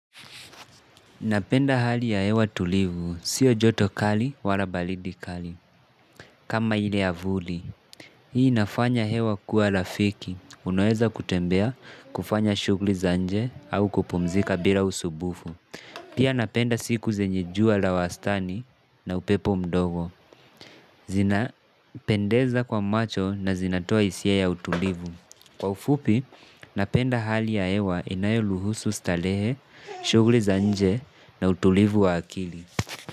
Napenda hali ya hewa tulivu. Sio joto kali wala balidi kali. Kama ile ya vuli. Hii inafanya hewa kuwa rafiki. Unaweza kutembea kufanya shughuli za nje au kupumzika bila usumbufu. Pia napenda siku zenye jua la wastani na upepo mdogo. Zina pendeza kwa macho na zinatoa hisia ya utulivu. Kwa ufupi, napenda hali ya hewa inayoruhusu starehe, shughuli za nje na utulivu wa akili.